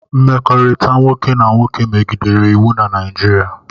Mmekọrịta nwoke na nwoke megidere iwu na Naịjirịa